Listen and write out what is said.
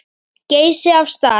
Geysi af stað.